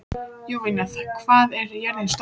Jovina, hvað er jörðin stór?